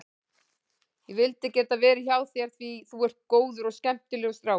Ég vildi geta verið hjá þér því þú ert góður og skemmtilegur strákur.